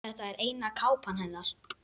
Þetta er eina kápan hennar.